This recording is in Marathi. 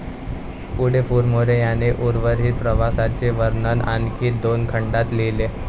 पुढे फुरमोरे यांनी उर्वरित प्रवासाचे वर्णन आणखी दोन खंडात लिहिले.